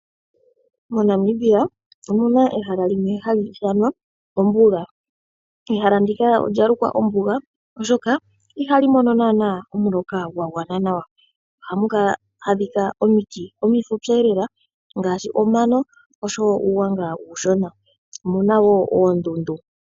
Mo Namibia omuna ehala limwe hali ithanwa ombuga. Ehala ndika olya lukwa ombuga oshoka ihali mono naanaa omuloka gwa gwana nawa. Ohamu adhika omiti omifupi lela ngaashi omano oshowo uugwanga uushona. Omuna woo oondundu.